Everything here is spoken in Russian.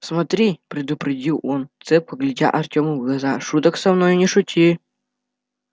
смотри предупредил он цепко глядя артему в глаза шуток со мной не шути